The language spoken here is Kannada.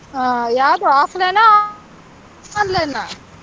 ಆಹ್ ಯಾವ್ದು offline ಆ online ಆ?